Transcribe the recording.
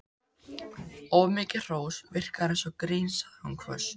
Of mikið hrós virkar eins og grín sagði hún hvöss.